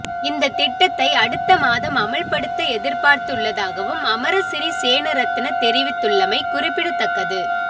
இந்த திட்டத்தை அடுத்த மாதம் அமுல்படுத்த எதிர்பார்த்துள்ளதாகவும் அமரசிறி சேனாரத்ன தெரிவித்துள்ளமை குறிப்பிடத்தக்கது